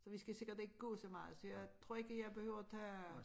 Så vi skal sikkert ikke gå så meget så jeg tror ikke jeg behøver tage